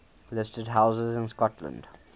listed houses in scotland